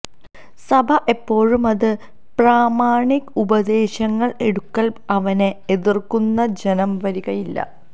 സഭ എപ്പോഴും അത് പ്രാമാണിക ഉപദേശങ്ങൾ എടുക്കൽ അവനെ എതിർക്കുന്നു ജനം വരികയില്ല